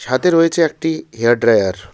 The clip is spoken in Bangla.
তাতে রয়েছে একটি হেয়ার ড্রায়ার ।